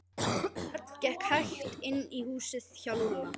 Örn gekk hægt inn í húsið hjá Lúlla.